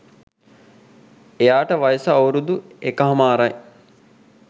එයාට වයස අවුරුදු එකහමාරයි.